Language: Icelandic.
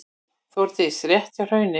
Þórdís: Rétt hjá Hrauni?